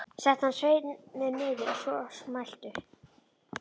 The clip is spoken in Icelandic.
Setti hann sveininn niður að svo mæltu.